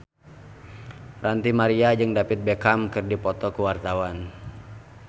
Ranty Maria jeung David Beckham keur dipoto ku wartawan